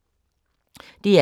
DR K